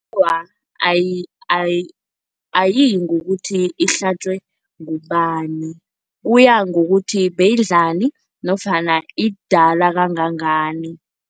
Awa, ayiyi ngokuthi ihlatjwe ngubani. Kuya ngokuthi beyidlani nofana idala kangangani.